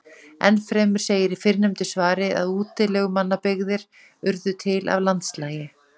Enn fremur segir í fyrrnefndu svari að útilegumannabyggðir urðu til af landslagi: